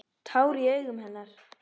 Tár í augum hennar.